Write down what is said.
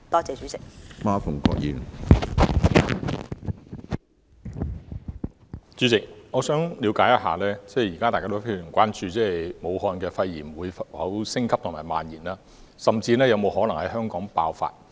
主席，大家現時非常關注武漢的肺炎情況會否升級及蔓延，甚至是否可能在香港爆發。